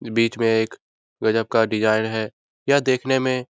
बीच में एक गजब का डिजाइन है यह देखने में --